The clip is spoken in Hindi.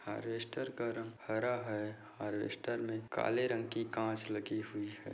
हार्वेस्टर का रंग हरा है। हर्वेस्टर में काले रंग की कांच लगी हुई है।